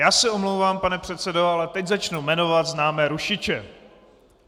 Já se omlouvám, pane předsedo, ale teď začnu jmenovat známé rušiče.